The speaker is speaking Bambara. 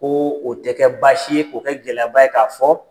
Ko o tɛ kɛ baasi ye, k'o kɛ gɛlɛyaba ye k'a fɔ